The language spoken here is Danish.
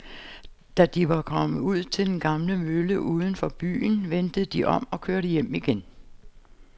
Da de var kommet ud til den gamle mølle uden for byen, vendte de om og kørte hjem igen.